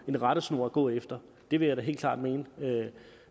en rettesnor at gå efter det vil jeg da helt klart mene